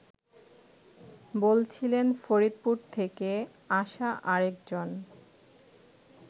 বলছিলেন ফরিদপুর থেকে আসা আরেকজন